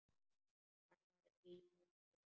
Hann var í böndum.